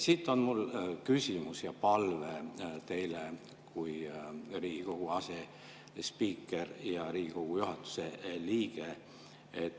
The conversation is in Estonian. Siit on mul küsimus ja palve teile kui Riigikogu asespiikrile ja Riigikogu juhatuse liikmele.